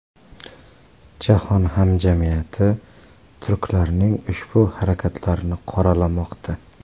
Jahon hamjamiyati turklarning ushbu harakatlarini qoralamoqda.